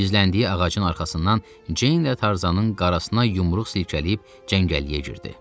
Gizləndiyi ağacın arxasından Ceyn ilə Tarzanın qarasına yumruq silkələyib cəngəlliyə girdi.